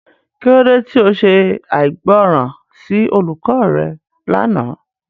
Kilode ti o ṣe aigbọran si olukọ rẹ làná?